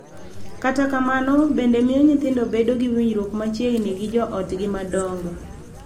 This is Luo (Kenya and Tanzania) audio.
Kata kamano, bende miyo nyithindo bedo gi winjruok machiegni gi jo otgi madongo.